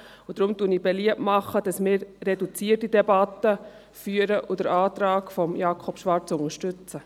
Deshalb mache ich beliebt, dass wir eine reduzierte Debatte führen und den Antrag von Jakob Schwarz unterstützen.